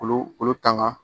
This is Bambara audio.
Olu olu tanga